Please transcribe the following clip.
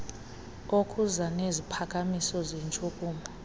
okuza neziphakamiso zentshukumo